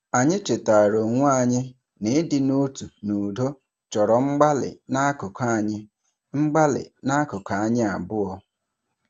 Anyị chetaara onwe anyị na ịdị n'otu n'udo chọrọ mgbalị n'akụkụ anyi mgbalị n'akụkụ anyi abụọ.